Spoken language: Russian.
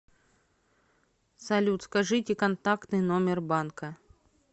салют скажите контактный номер банка